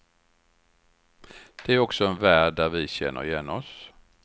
Det är också en värld där vi känner igen oss.